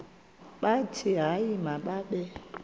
bathi hayi mababe